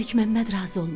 Məlikməmməd razı olmadı.